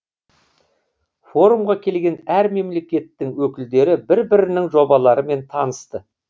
форумға келген әр мемлекеттің өкілдері бір бірінің жобаларымен танысты